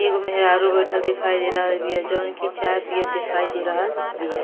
एगो मेहरारू बैठल दिखाई दे रहल बीया। जोवन की चाय पियत दिखाई दे रहल बिया।